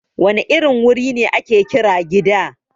Wane irin wuri ne ake kira Gida?